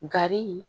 Gari